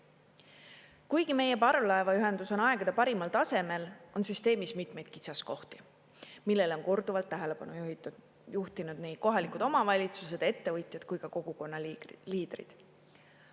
Kuigi meie parvlaevaühendus on aegade parimal tasemel, on süsteemis mitmeid kitsaskohti, millele on korduvalt tähelepanu juhtinud nii kohalikud omavalitsused ja ettevõtjad kui ka kogukonnaliidrid.